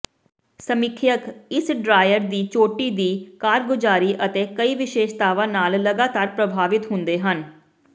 ਸਮੀਖਿਅਕ ਇਸ ਡ੍ਰਾਇਰ ਦੀ ਚੋਟੀ ਦੀ ਕਾਰਗੁਜ਼ਾਰੀ ਅਤੇ ਕਈ ਵਿਸ਼ੇਸ਼ਤਾਵਾਂ ਨਾਲ ਲਗਾਤਾਰ ਪ੍ਰਭਾਵਿਤ ਹੁੰਦੇ ਹਨ